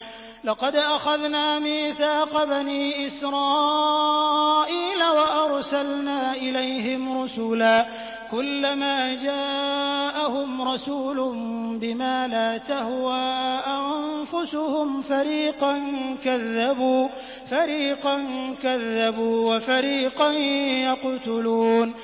لَقَدْ أَخَذْنَا مِيثَاقَ بَنِي إِسْرَائِيلَ وَأَرْسَلْنَا إِلَيْهِمْ رُسُلًا ۖ كُلَّمَا جَاءَهُمْ رَسُولٌ بِمَا لَا تَهْوَىٰ أَنفُسُهُمْ فَرِيقًا كَذَّبُوا وَفَرِيقًا يَقْتُلُونَ